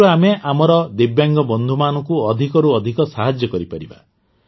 ଏଥିରୁ ଆମେ ଆମର ଦିବ୍ୟାଙ୍ଗ ବନ୍ଧୁମାନଙ୍କୁ ଅଧିକରୁ ଅଧିକ ସାହାଯ୍ୟ କରିପାରିବା